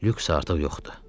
Lüks artıq yoxdur.